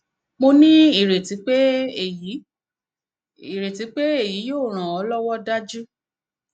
mo ní ireti pé èyí ireti pé èyí yóò ran an lọwọ dájú